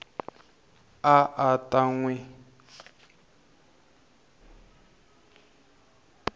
a a ta n wi